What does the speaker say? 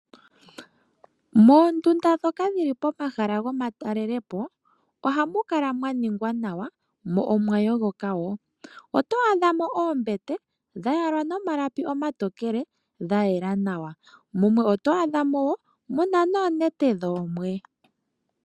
Moondunda ndhoka dhili pomahala gomatalelepo ,oha mu kala mwa ningwa nawa mo omwa yogoka wo. Oto adha mo oombete dha yalwa nomalapi omatokele ga yela nawa, mumwe oto adha mo muna noonete dhoomwe.